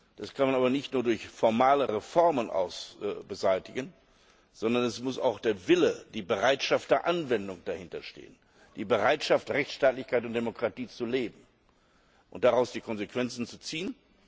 Das kann man aber nicht nur durch formale Reformen beseitigen, sondern es muss auch der Wille, die Bereitschaft der Anwendung dahinterstehen, die Bereitschaft, Rechtsstaatlichkeit und Demokratie zu leben und daraus die Konsequenzen zu ziehen.